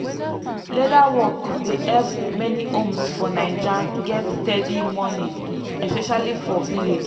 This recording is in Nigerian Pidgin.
leather work dey help many homes for naija get steady money especially for village.